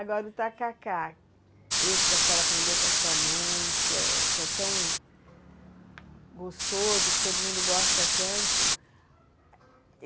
Agora o tacacá, esse que a senhora aprendeu com a sua mãe, que é que é tão gostoso, que todo mundo gosta tanto.